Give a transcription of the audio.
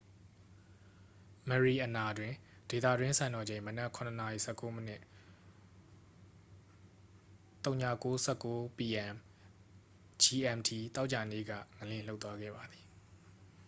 မရီအနာတွင် ဒေသတွင်းစံတော်ချိန် မနက် ၇ နာရီ ၁၉ မိနစ် ၀၉:၁၉ p.m. gmt သောကြာနေ့ က ငလျင်လှုပ်သွားခဲ့ပါသည်။